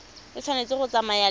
e tshwanetse go tsamaya le